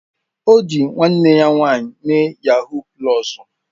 O ji nwanne ya nwanyị mee yahuu pulọs